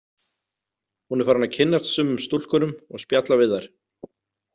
Hún er farin að kynnast sumum stúlkunum og spjalla við þær.